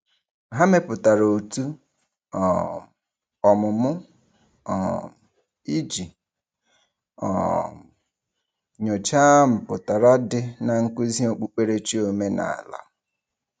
Ha mepụtara òtù um ọmụmụ um iji um nyocha mpụtara dị na nkuzi okpukperechi omenala.